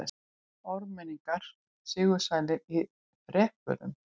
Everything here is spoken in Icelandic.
Ármenningar sigursælir í þrepunum